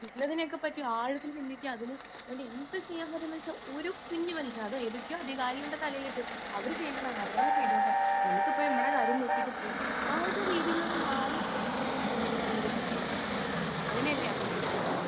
speaker 2 എന്നതിനെപ്പറ്റി ആഴത്തിൽ ചിന്തിക്കാൻ അതുകൊണ്ട് എന്ത് ചെയ്യാൻ പറ്റുക കുഞ്ഞു മനുഷ്യൻ അധികാരികളുടെ തലയിലേക്ക് അത് അവര് ചെയ്യേണ്ടതാണ് അവർ തന്നെ ചെയ്തോട്ടെ നമ്മക്ക് ഇപ്പൊ നമ്മുടെ കാര്യം നോക്കീട്ട് പോവാം ആ ഒരു രീതിയിൽ നിന്ന് മാറി സമൂഹം ചിന്തിക്കണമെന്നാണ് എനിക്ക് തോന്നുന്നത് അങ്ങനെയല്ലേ അഭിഷേകിന് തോന്നുന്നത്